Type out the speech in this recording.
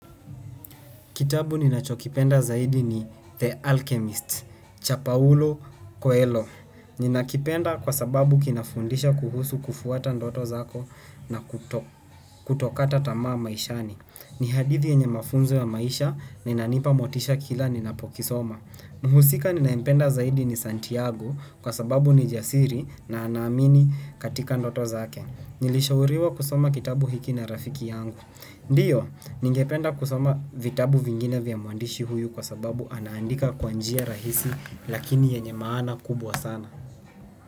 Kitabu ninachokipenda zaidi ni The Alchemist, Cha pauulo Coelho. Nina kipenda kwa sababu kinafundisha kuhusu kufuata ndoto zako na kutokata tamaa maishani. Ni hadithi yenye mafunzo ya maisha, na ina nipa motisha kila ninapokisoma. Muhusika ninayempenda zaidi ni Santiago kwa sababu ni jasiri na ana amini katika ndoto zake. Nilishauriwa kusoma kitabu hiki na rafiki yangu. Ndio, ningependa kusoma vitabu vingine vya mwandishi huyu kwa sababu anaandika kwa njia rahisi lakini yenye maana kubwa sana.